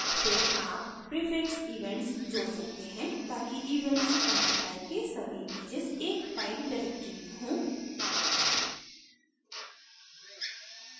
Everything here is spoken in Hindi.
फिर आप prefix events जोड सकते हैं ताकि events content type के सभी इमैजेस एक फाइल directory में हो